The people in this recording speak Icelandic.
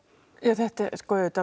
þetta er auðvitað